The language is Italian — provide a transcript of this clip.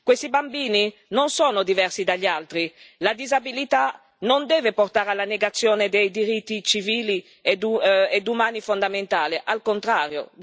Questi bambini non sono diversi dagli altri. La disabilità non deve portare alla negazione dei diritti civili ed umani fondamentali, al contrario.